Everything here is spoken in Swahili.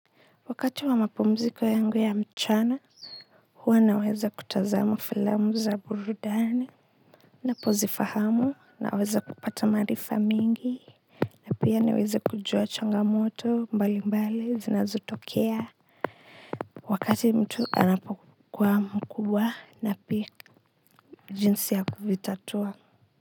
Wakati wa mapumziko yangu ya mchana, huwa naweza kutazama filamu za burudani napozifahamu, naweza kupata maarifa mingi na pia niweze kujua changamoto mbali mbali zinazotokea wakati mtu anapokuwa mkubwa na pia jinsi ya kuvitatua.